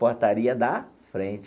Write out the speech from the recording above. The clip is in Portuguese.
Portaria da frente.